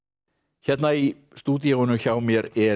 hérna í stúdíóinu hjá mér er